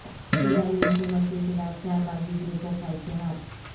سوڈانی حکومت کے خلاف چار باغی گروپوں کا اتحاد